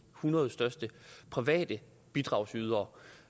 hundrede største private bidragydere